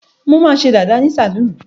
Mo máa ṣe dàda ní sálọ́ọ̀nù.